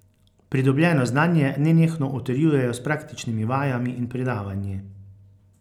Pridobljeno znanje nenehno utrjujejo s praktičnimi vajami in predavanji.